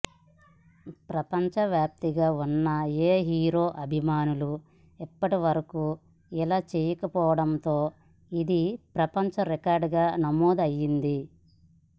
ప్రపంచ వ్యాప్తంగా ఉన్న ఏ హీరో అభిమానులు ఇప్పటివరకు ఇలా చేయకపోవడంతో ఇది ప్రపంచ రికార్డుగా నమోదు అయ్యింది